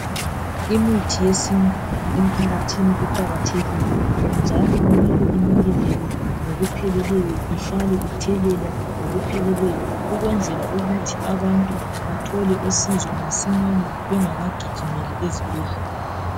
Imithi yesintu emphakathini iqakathekile njalo kumele inakekelwe ngokupheleleyo ihlale ithelelwa ngokupheleleyo ukwenzela ukuthi abantu bathole usizo masinyane bengakagijimeli ezibhedlela.